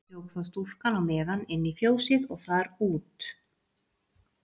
Hljóp þá stúlkan á meðan inn í fjósið og þar út.